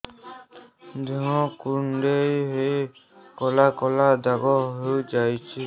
ଦେହ କୁଣ୍ଡେଇ ହେଇ କଳା କଳା ଦାଗ ହେଇଯାଉଛି